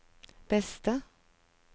beste